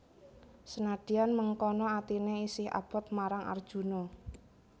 Senadyan mengkono atiné isih abot marang Arjuna